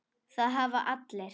Það hafa allir